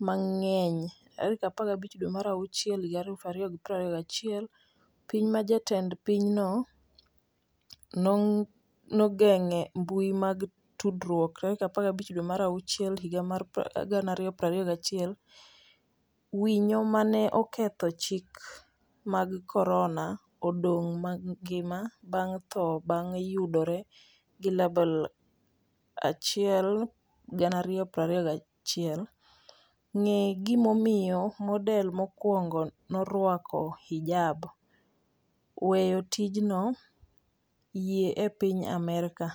mang'eny15 dwe mar achiel 2021 Piny ma jatend pinyno nogeng'e mbui mag tudruok15 dwe mar achiel higa mar 2021 Winyo ma 'ne oketho chike mag korona' odong' mangima bang' tho bang' yudore gi label1 2021 Ng'e gimomiyo model mokwongo norwako hijab â€ ?weyo tijnoâ€TM yie e piny Amerka?